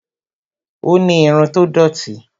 ó ni irun tó dòti